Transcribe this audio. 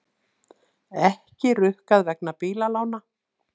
Ekki rukkað vegna bílalána